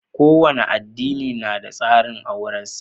Kowane adini na da tsarin auren sa